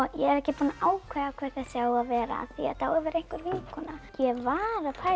ekki búin að ákveða hver þessi á að vera þetta á að vera einhver vinkona ég var að pæla